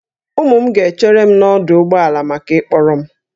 Ụmụ m ga-echere m n'ọdụ ụgbọ ala maka ịkpọrọ m